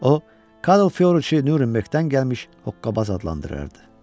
O Karl Fyodriçi Nurinberqdən gəlmiş Hokkabaz adlandırırdı.